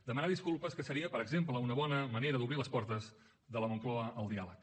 demanar disculpes que seria per exemple una bona manera d’obrir les portes de la moncloa al diàleg